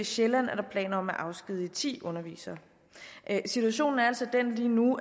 sjælland er der planer om at afskedige ti undervisere situationen er altså lige nu